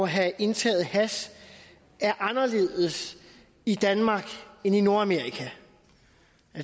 have indtaget hash er anderledes i danmark end i nordamerika